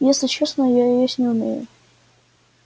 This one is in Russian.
если честно я её есть не умею